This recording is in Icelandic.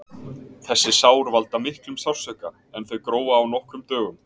Þessi sár valda miklum sársauka en þau gróa á nokkrum dögum.